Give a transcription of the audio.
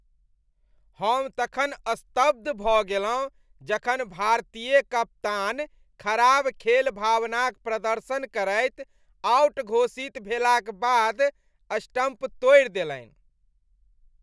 हम तखन स्तब्ध भऽ गेलहुँ जखन भारतीय कप्तान खराब खेल भावनाक प्रदर्शन करैत आउट घोषित भेलाक बाद, स्टम्प तोड़ि देलैन ।